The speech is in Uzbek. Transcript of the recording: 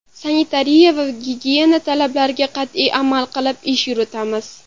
Sanitariya va gigiyena talablariga qat’iy amal qilib, ish yuritamiz”.